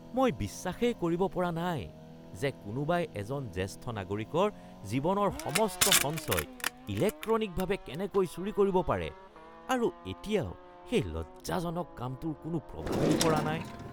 মই বিশ্বাসেই কৰিব পৰা নাই যে কোনোবাই এজন জ্যেষ্ঠ নাগৰিকৰ জীৱনৰ সমস্ত সঞ্চয় ইলেক্ট্ৰনিকভাৱে কেনেকৈ চুৰি কৰিব পাৰে আৰু এতিয়াও সেই লজ্জাজনক কামটোৰ কোনো প্ৰভাৱেই পৰা নাই